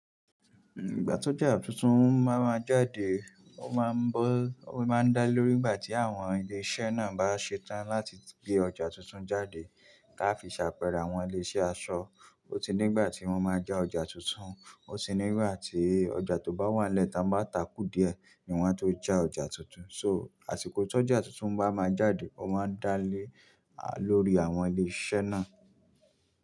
Ìgbà tó ọjà tuntun bá máa jáde, ó máa ń bó, ó máa ń dá lé lórí ìgbà tí àwọn ilé iṣẹ́ náà bá ṣe tán láti gbé ọjà tuntun jáde ká fi ṣe àpẹẹrẹ awọ́n ilé iṣẹ́ aṣọ. Ó ti ní ìgbà tí wọ́n máa já ọjà tuntun, ó ti ní ìgbà tí ọjà tó bá wà nílẹ̀ táa bá takú díẹ̀ ní wọ́n tó já ọjà tuntun. So, àsìkò ti ọjà tuntun bá máa jáde, ó máa ń dá lé, à, lórí àwọn ilé iṣẹ́ náà.